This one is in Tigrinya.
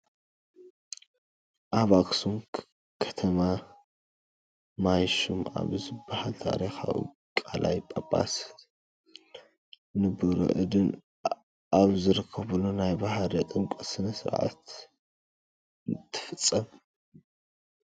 ኣብ ኣኽሱም ከማ ማይ ሹም ኣብ ዝበሃል ታሪካዊ ቃላይ ጳጳስን ንቡረ እድን ኣብ ዝተረኸቡሉ ናይ ባህረ ጥምቀት ስነ ስርዓት እትፍፀም፡፡